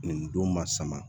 Nin don ma sama